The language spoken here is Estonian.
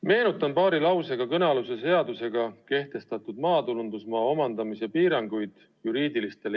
Meenutan paari lausega kõnealuse seaduse alusel juriidilistele isikutele kehtestatud maatulundusmaa omandamise piiranguid.